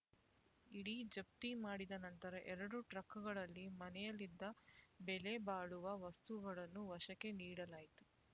ಇಡಿ ಜಪ್ತಿ ಮಾಡಿದ ನಂತರ ಎರಡು ಟ್ರಕ್‌ಗಳಲ್ಲಿ ಮನೆಯಲ್ಲಿದ್ದ ಬೆಲೆಬಾಳುವ ವಸ್ತುಗಳನ್ನು ವಶಕ್ಕೆ ನೀಡಲಾಯಿತು